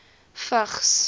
vigs